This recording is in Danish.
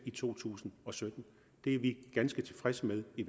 i to tusind og sytten det er vi ganske tilfredse med i